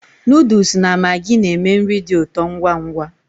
Noodles na maggi na-eme nri dị ụtọ ngwa ngwa